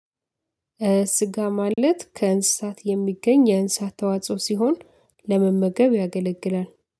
ስጋ ማለት ከእንስሳት የሚገኝ የእንስሳት ተዋጽኦ ሲሆን ለመመገብ ያገለግላል።